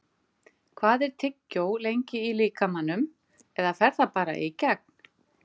Hvað er tyggjó lengi í líkamanum eða fer það bara í gegn?